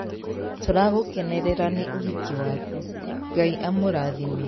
Tũragũkenerera nĩ ũhiki waku. Ngai amũrathime.